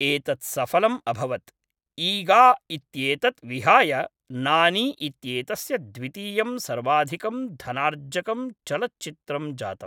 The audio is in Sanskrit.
एतत् सफलम् अभवत्, ईगा इत्येतत् विहाय नानी इत्येतस्य द्वितीयं सर्वाधिकं धनार्जकं चलच्चित्रम् जातम्।